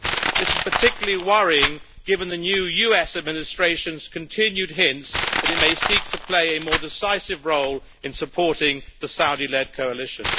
This is particularly worrying given the new US Administration's continued hints that it may seek to play a more decisive role in supporting the Saudi led coalition.